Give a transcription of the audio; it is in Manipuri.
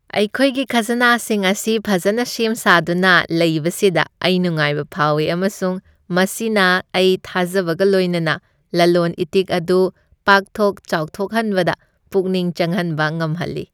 ꯑꯩꯈꯣꯏꯒꯤ ꯈꯥꯖꯅꯥꯁꯤꯡ ꯑꯁꯤ ꯐꯖꯅ ꯁꯦꯝ ꯁꯥꯗꯨꯅ ꯂꯩꯕꯁꯤꯗ ꯑꯩ ꯅꯨꯡꯉꯥꯏꯕ ꯐꯥꯎꯏ, ꯑꯃꯁꯨꯡ ꯃꯁꯤꯅ ꯑꯩ ꯊꯥꯖꯕꯒ ꯂꯣꯏꯅꯅ ꯂꯂꯣꯟ ꯏꯇꯤꯛ ꯑꯗꯨ ꯄꯥꯛꯊꯣꯛ ꯆꯥꯎꯊꯣꯛꯍꯟꯕꯗ ꯄꯨꯛꯅꯤꯡ ꯆꯪꯍꯟꯕ ꯉꯝꯍꯜꯂꯤ꯫